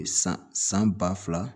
San san ba fila